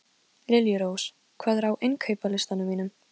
Ég hef þekkt hana frá því að hún var barn.